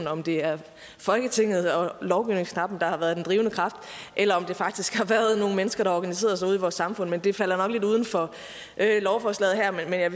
om det er folketinget og lovgivningsknappen der har været den drivende kraft eller om det faktisk har været nogle mennesker der organiserede sig ude i vores samfund men det falder nok lidt uden for lovforslaget her